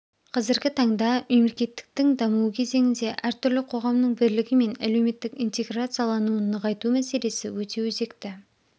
қазіргі таңда мемлекеттіктің дамуы кезеңінде әртүрлі қоғамның бірлігі мен әлеуметтік интеграциялануын нығайту мәселесі өте өзекті